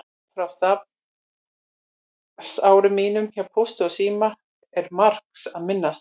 Frá starfsárum mínum hjá Pósti og síma er margs að minnast.